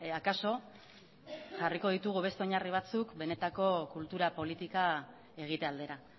akaso jarriko ditugu beste oinarri batzuk benetako kultura politika egite aldera